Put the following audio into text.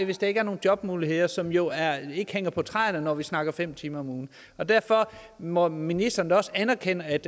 hvis der ikke er nogen jobmuligheder som jo ikke hænger på træerne når vi taler om fem timer om ugen og derfor må ministeren da også anerkende at